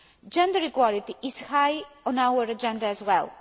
Gender equality is high on our agenda as well.